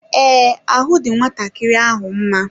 Ee, ahụ dị nwatakịrị ahụ mma.